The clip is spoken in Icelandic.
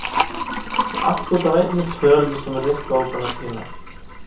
Allt út af einni tölu sem Rikka var búin að týna.